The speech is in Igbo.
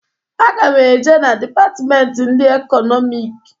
Aga m e je na dipatmenti ndị Ekọnọmik.